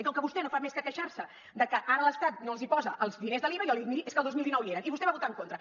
i com que vostè no fa més que queixar se de que ara l’estat no els posa els diners de l’iva jo li dic miri és que el dos mil dinou hi eren i vostè hi va votar en contra